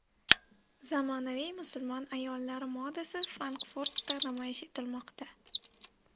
Zamonaviy musulmon ayollari modasi Frankfurtda namoyish etilmoqda.